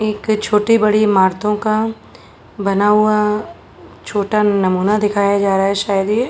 एक छोटी बड़ी इमारतों का बना हुआ छोटा नमूना दिखाया जा रहा है शायद ये --